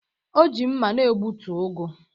O ji mma na-egbutu ugu